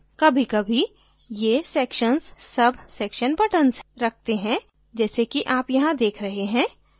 कभीकभी ये sections subsection button रखते हैं जैसे कि आप यहाँ देख रहे हैं